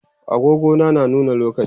agogo na nuna lokaci